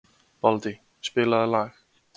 Baldey, spilaðu lag.